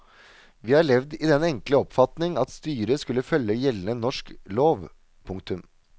Vi har levd i den enkle oppfatning at styret skulle følge gjeldende norsk lov. punktum